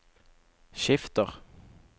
skifter